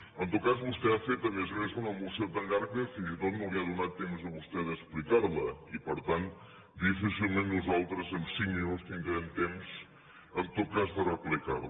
en tot cas vostè ha fet a més a més una moció tan llarga que fins i tot no li ha donat temps a vostè d’explicarla i per tant difícilment nosaltres en cinc minuts tindrem temps en tot cas de replicar la